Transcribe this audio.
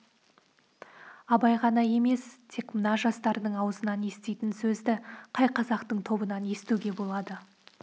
абай ғана емес тек мына жастардың аузынан еститін сөзді қай қазақтың тобынан естуге болады